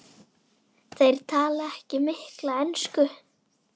Þeir tala ekki mikla ensku.